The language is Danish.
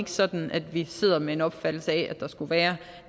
sådan at vi sidder med en opfattelse af at der skulle være